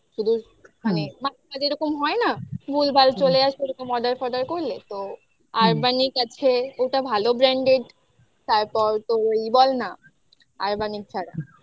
শুধু মানে যেরকম হয় না ভুলভাল চলে আসবে ওরকম order forder করলে তো urbanic আছে ওটা ভালো brand তারপর তো ই বল না